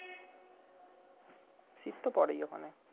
শীত তো পরেই ওই খানে